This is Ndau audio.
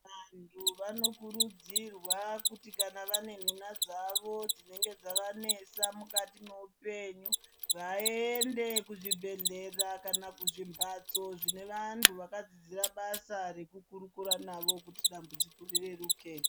Vantu vanokurudzirwa kuti kana vanenhunha dzavo dzinenge dzavanesa mukati mweupenyu vaende kuzvibhehlera kana kuzvimbatso zvinevantu vakadzidzira basa rekukurukura navo kuti dambudziko rireruke.